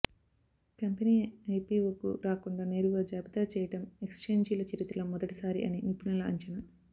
company ఐపిఒకు రాకుండా నేరుగా జాబితా చేయడం ఎక్ఛేంజిల చరిత్రలో మొదటిసారి అని నిపుణుల అంచనా